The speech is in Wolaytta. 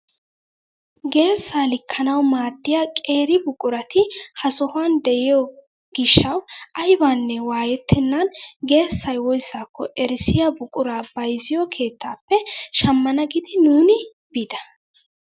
Geessaa likkanawu maaddiyaa qeeri buqurati ha sohuwaan de'iyoo gishshawu aybanne waayettenan geessay woyssako erissiyaa buquraa bayzziyoo keettappe shammana giidi nuuni biida!